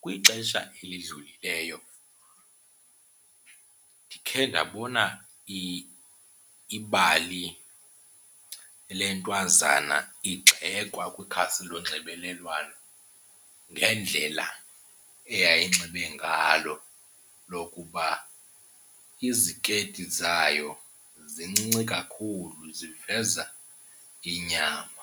Kwixesha elidlulileyo ndikhe ndabona ibali le ntwazana igxekwa kwikhasi lonxibelelwano ngendlela eyayinxibe ngalo lokuba izikeyiti zayo zincinci kakhulu ziveza inyama.